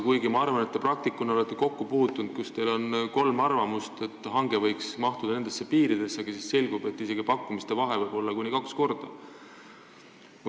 Kuigi ma arvan, et te praktikuna olete kokku puutunud olukordadega, kus teil on kolm arvamust, et hange võiks mahtuda mingitesse piiridesse, aga siis selgub, et isegi pakkumiste vahe võib olla kuni kahekordne.